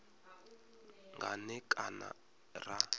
nga n e kana ra